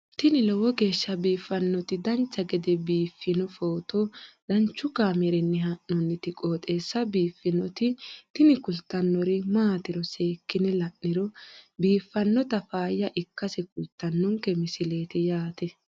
tini lowo geeshsha biiffannoti dancha gede biiffanno footo danchu kaameerinni haa'noonniti qooxeessa biiffannoti tini kultannori maatiro seekkine la'niro biiffannota faayya ikkase kultannoke misileeti yaate